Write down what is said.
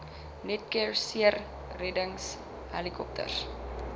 netcare seereddings helikopters